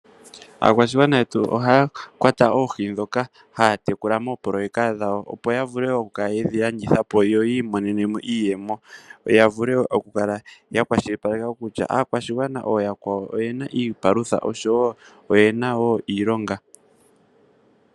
Aakwashigwana yetu ohay kwata oohi ndhoka haya mono moopololeka dhawo ya mone iiyemo yo vule oku kala ya kwashilipaleka kutya aakwashigwana ooyakwawo oyena wo iilonga.